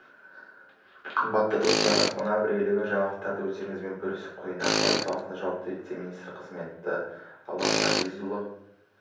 қымбатты достар мына бір елеулі жаңалықты өздеріңізбен бөлісіп қояйын ақпарат саласына жауапты вице-министр қызметіне алан ғазизұлы